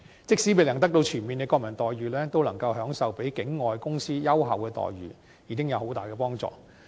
即使未能得到全面的國民待遇，能夠享受比境外公司優厚的待遇，已經有很大幫助。